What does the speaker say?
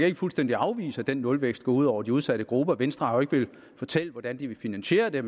ikke fuldstændig afvise at den nulvækst går ud over de udsatte grupper venstre har jo ikke villet fortælle hvordan de ville finansiere det